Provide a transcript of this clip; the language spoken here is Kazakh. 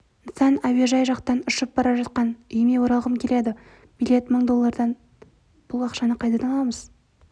нысан әуежай жақтан ұшып бара жатқан үйіме оралғым келеді билет мың доллардан бұл ақшаны қайдан аламыз